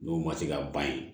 N'o ma se ka ban ye